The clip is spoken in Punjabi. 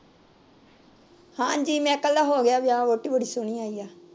ਹਾਂਜੀ ਮੈਕਲ ਦਾ ਹੋ ਗਿਆ ਵਿਆਹ ਵੋਹਟੀ ਬੜੀ ਸੋਹਣੀ ਆਈ ਐ